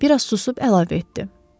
Bir az susub əlavə etdi.